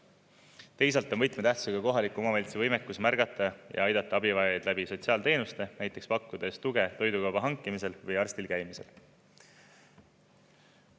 Teisalt on võtmetähtsusega kohaliku omavalitsuse võimekus märgata ja aidata abivajajaid läbi sotsiaalteenuste, näiteks pakkudes tuge toidukauba hankimisel või arstil käimisel.